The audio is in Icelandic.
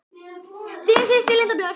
Þín systir, Linda Björk.